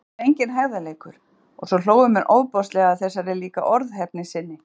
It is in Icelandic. Og bókstaflega enginn hægðarleikur- og svo hlógu menn ofboðslega að þessari líka orðheppni sinni.